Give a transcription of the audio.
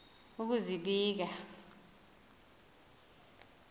ukuzibika